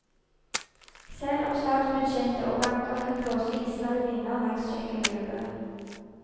Selv om statsbudsjett og banker kan blåse iskalde vinder langs kjøkkengulvet.